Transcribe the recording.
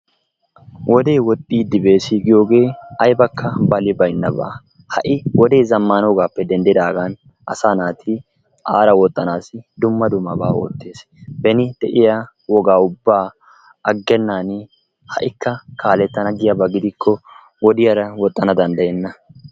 Wodee woxiddi bees giyogge aybbakka balli bayinabba. Ha'i wodee zamanogappe dendidaggani asa naati aara woxanassi dumma dummaba oottes, beni de'iyaa wogga ubaa agennaani ha'ikka kaalettana giyaabba gidikko wodiyaara woxanna danddayena.